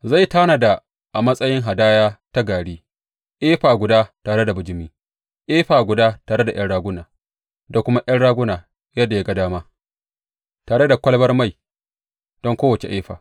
Zai tanada a matsayin hadaya ta gari, efa guda tare da bijimi, efa guda tare da ’yan raguna, da kuma ’yan raguna yadda ya ga dama, tare da kwalabar mai don kowace efa.